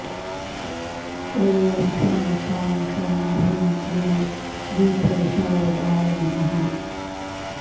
ॐ शं शां षं ह्रीं क्लीं गीतविशारदाय नमः